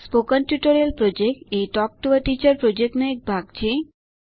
spoken tutorial project એ talk to a teacher project નો એક ભાગ છે